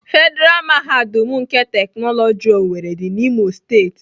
Federa mahadum nke teknoloji owerri dị n'Imo steeti.